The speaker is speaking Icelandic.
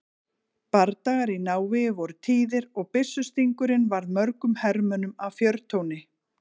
Bardagar í návígi voru tíðir og byssustingurinn varð mörgum hermönnum að fjörtjóni.